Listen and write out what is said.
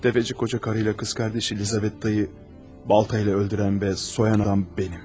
Təfəçi qoca qarıyla qız qardaşı Elizabetdayı baltayla öldürən və soyan adam mənəm.